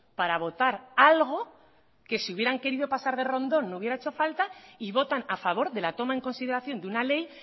para votar algo que si hubieran querido pasar de rondón no hubiera hecho falta y votan a favor de la toma en consideración de una ley